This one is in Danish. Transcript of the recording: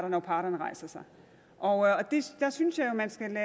når parterne rejser sig jeg synes jo at man skal